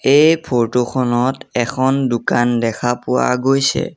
এই ফটো খনত এখন দোকান দেখা পোৱা গৈছে।